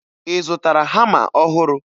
Ị zụtara hama ọhụrụ?